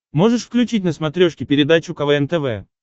можешь включить на смотрешке передачу квн тв